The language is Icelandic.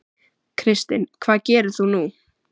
Kristinn: Hvað gerir þú nú?